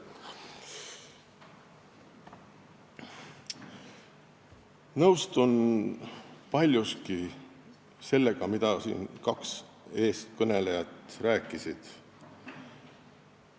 Nõustun paljuski sellega, mida kaks eelkõnelejat rääkisid.